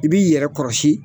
I b'i yɛrɛ kɔrɔsi